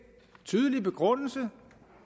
tydelige begrundelse